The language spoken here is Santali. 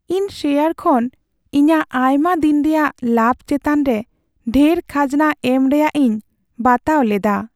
ᱤᱧ ᱥᱮᱭᱟᱨ ᱠᱷᱚᱱ ᱤᱧᱟᱹᱜ ᱟᱭᱢᱟ ᱫᱤᱱ ᱨᱮᱭᱟᱜ ᱞᱟᱵᱷ ᱪᱮᱛᱟᱱ ᱨᱮ ᱰᱷᱮᱨ ᱠᱷᱟᱡᱽᱱᱟ ᱮᱢ ᱨᱮᱭᱟᱜ ᱤᱧ ᱵᱟᱛᱟᱣ ᱞᱮᱫᱟ ᱾